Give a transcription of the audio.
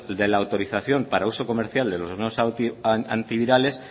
de la autorización para el uso comercial de los nuevos antivirales